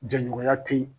Ja ɲɔgɔnya tɛ yen